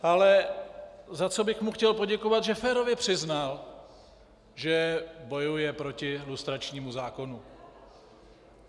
Ale za co bych mu chtěl poděkovat, že férově přiznal, že bojuje proti lustračnímu zákonu.